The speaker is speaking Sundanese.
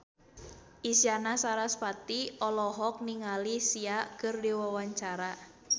Isyana Sarasvati olohok ningali Sia keur diwawancara